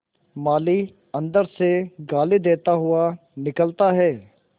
माली अंदर से गाली देता हुआ निकलता है